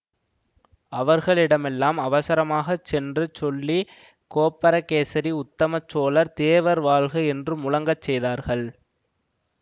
அவர்களிடமெல்லாம் அவசரமாக சென்று சொல்லி கோப்பரகேசரி உத்தமச் சோழர் தேவர் வாழ்க என்று முழங்கச் செய்தார்கள்